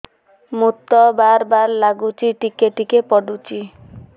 ମୁତ ବାର୍ ବାର୍ ଲାଗୁଚି ଟିକେ ଟିକେ ପୁଡୁଚି